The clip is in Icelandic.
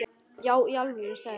Já í alvöru, sagði hún.